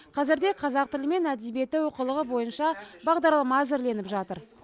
қазірде қазақ тілі мен әдебиеті оқулығы бойынша бағдарлама әзірленіп жатыр